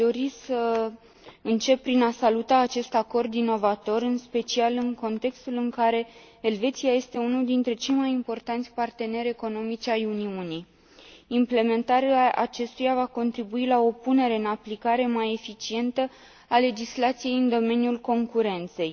Aș dori să încep prin a saluta acest acord inovator, în special în contextul în care Elveția este unul dintre cei mai importanți parteneri economici ai Uniunii. Implementarea acestuia va contribui la o punere în aplicare mai eficientă a legislației în domeniul concurenței.